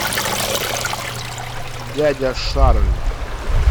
дядя шарль